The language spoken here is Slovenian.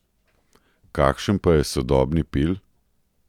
Kakšen pa je sodobni Pil?